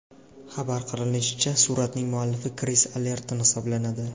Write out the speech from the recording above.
Xabar qilinishicha, suratning muallifi Kris Allerton hisoblanadi.